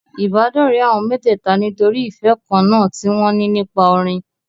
Ìbádọ́rẹ̀ẹ́ àwọn mẹ́tẹ̀ẹ̀ta nítorí ìfẹ́ kan náà tí wọn ní nípa orin.